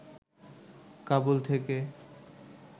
কাবুল থেকে